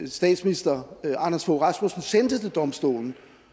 statsminister anders fogh rasmussen sendte til domstolen